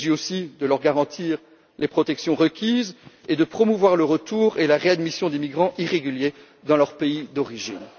Il s'agit aussi de leur garantir les protections requises et de promouvoir le retour et la réadmission des migrants irréguliers dans leur pays d'origine.